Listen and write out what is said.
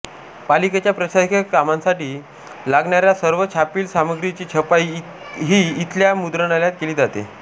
पालिकेच्या प्रशासकीय कामांसाठी लागणाऱ्या सर्व छापील सामग्रीची छपाई ही इथल्या मुद्रणालयात केली जाते